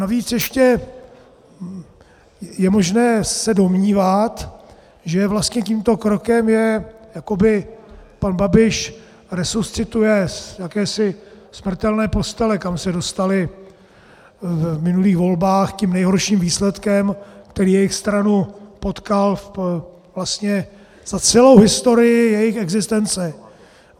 Navíc ještě je možné se domnívat, že vlastně tímto krokem je jakoby pan Babiš resuscituje z jakési smrtelné postele, kam se dostali v minulých volbách tím nejhorším výsledkem, který jejich stranu potkal za celou historii jejich existence.